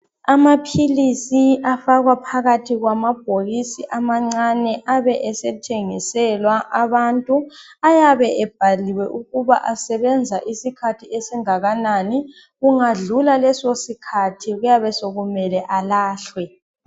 Amaphilisi afakwa phakathi kwamabhokisi amancane abe esethengiswela abantu ayabe ebhaliwe ukuba asebenza isikhathi esingakanani kungadlula leso sikhathi kuyabe sekumele alahlwe.